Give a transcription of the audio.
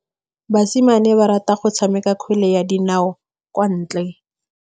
Basimane ba rata go tshameka kgwele ya dinaô kwa ntle.